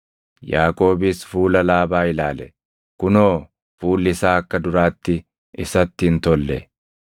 Yaaqoobis fuula Laabaa ilaale; kunoo fuulli isaa akka duraatti isatti hin tolle.